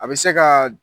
A bɛ se ka